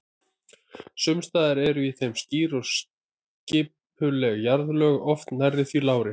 Sums staðar eru í þeim skýr og skipuleg jarðlög, oft nærri því lárétt.